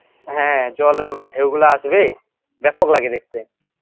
হ্যাঁ জলের মানে ঢেউ গুলা আসবে ব্যাপক লাগে দেখতে